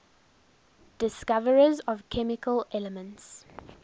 discoverers of chemical elements